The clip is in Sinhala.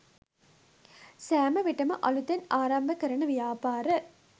සෑම විටම අලුතෙන් ආරම්භ කරන ව්‍යාපාර